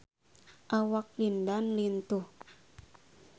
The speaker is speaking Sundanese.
Awak Lin Dan lintuh